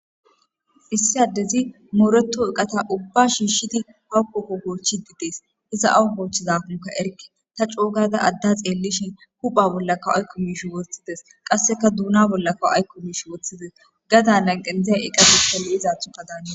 Issi addezi mooreto oqata ubba shiishidi hawukkokko koochidides iza awu hoochchizahunka erke ta coogada adda xeellishin hupha bollakka aykko miish woththides qasseka duuna bollakka aykko miish woththides gada nan qendzaza eqabushfalli izaathu ka daana